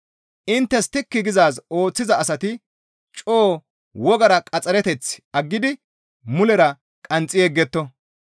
Inttes tikki gizaaz ooththiza asati coo wogara qaxxareteth aggidi mulera qanxxi yegetto.